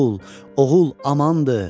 Oğul, oğul amandır.